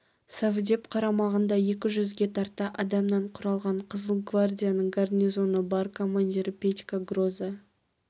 совдеп қарамағында екі жүзге тарта адамнан құралған қызыл гвардияның гарнизоны бар командирі петька гроза